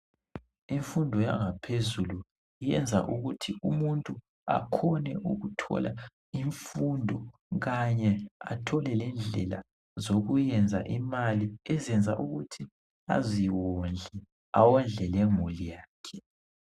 Imfundo yangaphezulu iyenza ukuthi umuntu akhone ukuthola imfundo kanye athole lendlela zokuyenza imali ezenza ukuthi umuntu aziwondle awondle lemuli yakhe